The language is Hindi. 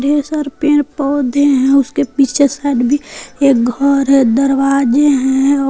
ढेर सारे पेड़ पौधे है उसके पीछे साइड भी एक घर है दरवाजे है और--